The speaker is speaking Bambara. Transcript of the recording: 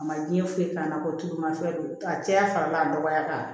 A ma diɲɛ foyi k'a la ko tuuma fɛn don a cɛya fana b'a nɔgɔya k'a